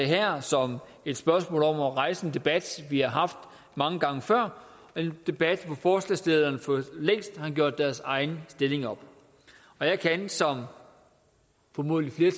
her som et spørgsmål om at rejse en debat vi har haft mange gange før en debat hvor forslagsstillerne for længst har gjort deres egen stilling op jeg kan som formodentlig